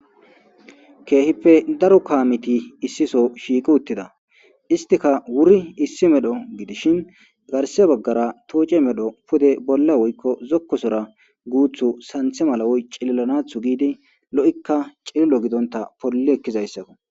''Kehippe daro kaameti issi soo shiiqi uttida.iztika wuri issi medho gidishin garse bagara toocce medho pude bola woykko zoko sora guuthu santhe mala cililanatho giidi lo'ika cililo gidonta polli ekizayssako.''